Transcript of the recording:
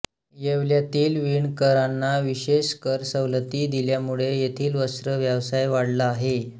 येवल्यातील वीणकराना विशेष कर सवलती दिल्यामुळे येथील वस्त्र व्यवसाय वाढला आहे